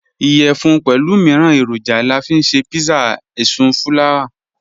Iyẹfun pẹlu miiran eroja la fi nṣe pizza èṣùfùlàwà.